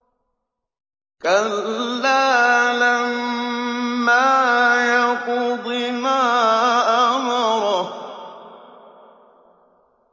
كَلَّا لَمَّا يَقْضِ مَا أَمَرَهُ